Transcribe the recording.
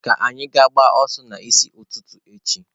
Ka anyị gaa gbaa ọsọ n'isi ụtụtụ echi.